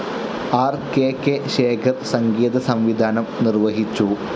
R K K Shekhar സംഗീതസംവിധാനം നിർവഹിച്ചു.